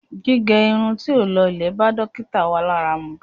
Gígẹ irun tí ó lọlẹ̀ bá dókítà wa lára mu.